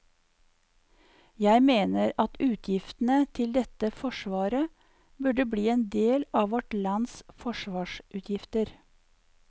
Jeg mener at utgiftene til dette forsvaret burde bli en del av vårt lands forsvarsutgifter.